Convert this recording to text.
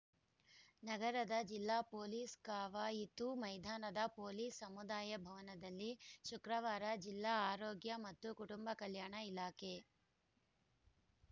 ನಗರದ ಜಿಲ್ಲಾ ಪೊಲೀಸ್‌ ಕವಾಯಿತು ಮೈದಾನದ ಪೊಲೀಸ್‌ ಸಮುದಾಯ ಭವನದಲ್ಲಿ ಶುಕ್ರವಾರ ಜಿಲ್ಲಾ ಆರೋಗ್ಯ ಮತ್ತು ಕುಟುಂಬ ಕಲ್ಯಾಣ ಇಲಾಖೆ